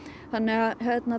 þannig að